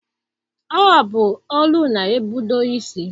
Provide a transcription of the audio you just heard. Ọ bụ olu na-ebudo isi.